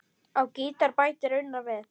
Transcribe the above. Á gítar bætir Unnar við.